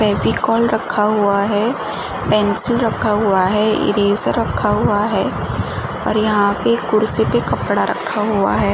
फेविकोल रखा हुआ है। पेन्सिल रखा हुआ है। इरेज़र रखा हुआ है और यहाँ पे कुर्सी पे कपड़ा रखा हुआ है।